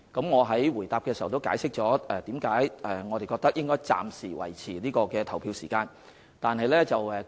我已在主體答覆解釋為何我們認為應該暫時維持投票時間。